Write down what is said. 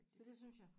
Så det synes jeg